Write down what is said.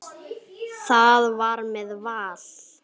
Það var með Val.